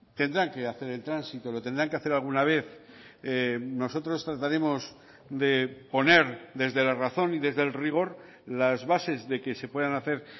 tendrán que hacer el tránsito lo tendrán que hacer alguna vez nosotros trataremos de poner desde la razón y desde el rigor las bases de que se puedan hacer